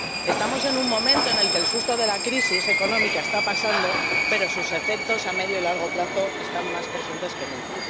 Estamos en un momento en el que el susto de la crisis económica está pasando, pero sus efectos a medio y largo plazo están más presentes que nunca.